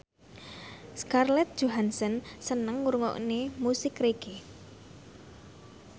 Scarlett Johansson seneng ngrungokne musik reggae